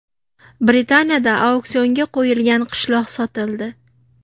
Britaniyada auksionga qo‘yilgan qishloq sotildi.